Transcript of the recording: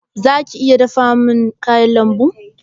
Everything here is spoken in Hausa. Zaka iya dafa min kayan lambun?